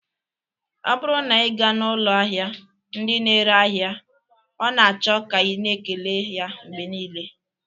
Ọ bụrụ na ị gaa n'ụlọ ahịa ndị na-ere ahịa ọ na-achọ ka ị na-ekele ya mgbe niile